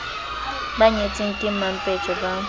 ba nyetseng ke mampetje ba